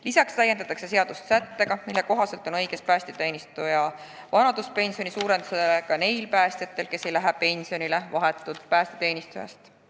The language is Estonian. Lisaks täiendatakse seadust sättega, mille kohaselt on õigus päästeteenistuja vanaduspensioni suurendamisele ka neil päästjatel, kes ei lähe pensionile otse päästeteenistusest.